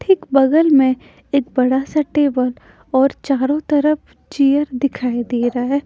ठीक बगल में एक बड़ा सा टेबल और चारों तरफ चियर दिखाई दे रहा है।